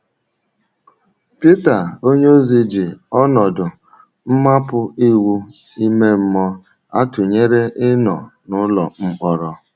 Pita onyeozi ji ọnọdụ mmapụ iwu ime mmụọ a tụnyere ịnọ “ n’ụlọ mkpọrọ. ”.”